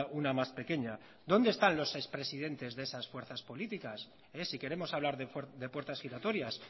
una más pequeña dónde están los ex presidentes de esas fuerzas políticas si queremos hablar de puertas giratorias